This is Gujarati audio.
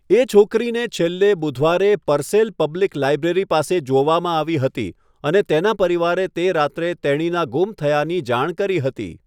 એ છોકરીને છેલ્લે બુધવારે પરસેલ પબ્લિક લાઇબ્રેરી પાસે જોવામાં આવી હતી, અને તેના પરિવારે તે રાત્રે તેણીના ગુમ થયાની જાણ કરી હતી.